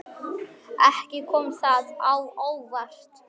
Ekki kom það á óvart.